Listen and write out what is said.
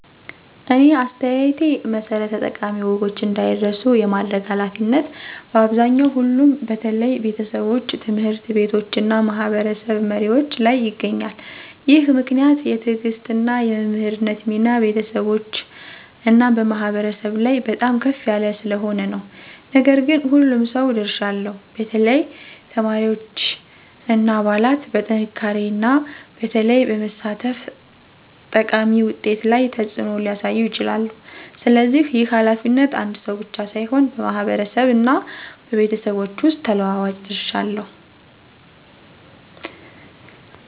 እኔ አስተያየቴ መሠረት ጠቃሚ ወጎች እንዳይረሱ የማድረግ ኃላፊነት በአብዛኛው ሁሉም በተለይ ቤተሰቦች፣ ትምህርት ቤቶች እና ማህበረሰብ መሪዎች ላይ ይገኛል። ይህ ምክንያት የትዕግሥት እና የመምህርነት ሚና በቤተሰቦች እና በማህበረሰብ ላይ በጣም ከፍ ያለ ስለሆነ ነው። ነገር ግን ሁሉም ሰው ድርሻ አለው፣ በተለይ ተማሪዎች እና አባላት በጥንካሬና በተግባር በመሳተፍ ጠቃሚ ውጤት ላይ ተጽዕኖ ሊያሳዩ ይችላሉ። ስለዚህ ይህ ኃላፊነት አንድ ሰው ብቻ ሳይሆን በማህበረሰብ እና በቤተሰቦች ሁሉ ተለዋዋጭ ድርሻ አለው።